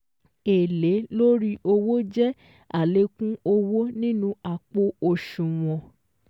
Èlé lórí owó jẹ́ àlékún owó nínú àpò òṣùwọ̀n